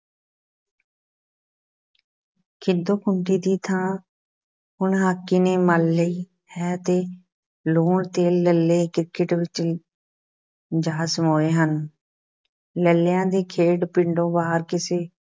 ਖਿੱਦੋ-ਖੂੰਡੀ ਦੀ ਥਾਂ ਹੁਣ ਹਾਕੀ ਨੇ ਮੱਲ ਲਈ ਹੈ ਅਤੇ ਲੂਣ-ਤੇਲ ਲੱਲ੍ਹੇ, ਕ੍ਰਿਕਟ ਵਿੱਚ ਜਾ ਸਮੋਏ ਹਨ, ਲੱਲ੍ਹਿਆਂ ਦੀ ਖੇਡ ਪਿੰਡੋਂ ਬਾਹਰ ਕਿਸੇ